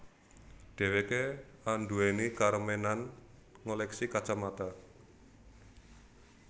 Dheweké anduweni karemenan ngoleksi kacamata